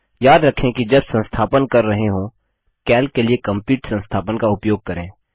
याद रखें कि जब संस्थापन कर रहे हों कैल्क के लिए कंप्लीट संस्थापन का उपयोग करें